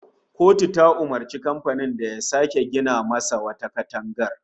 Kotu ta umurci kamfanin da ya sake gina masa wata katangar